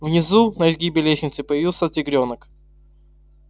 внизу на изгибе лестницы появился тигрёнок